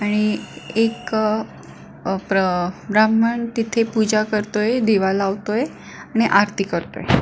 आणि एक अ प्र ब्राह्मण तिथे पूजा करतोय दिवा लावतोय आणि आरती करतोय.